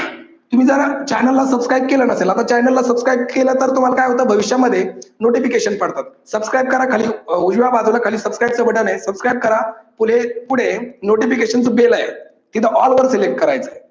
तुम्ही जर channel ला subscribe केलं नसेल आता चॅनलला सबस्क्राईब केलं तर तुम्हाला काय होतं होतं भविष्यामध्ये notification पडतात subscribe करा खाली उजव्या बाजूला खाली subscribe च button आहे subscribe करा पुढे पुढे notification च bell आहे तिथे all वर select करायचंय